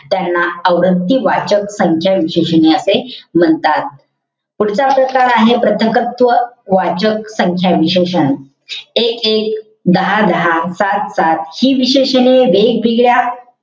त्यांना आवृत्ती वाचक संख्या विशेषणे असे म्हणतात. पुढचा प्रकार आहे. प्रथक्त्व वाचक संख्या विशेषण. एक-एक. दहा-दहा. सात-सात. हि विशेषणे वेगवेगळया,